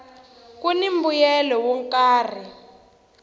kuni mbuyelo wo karhi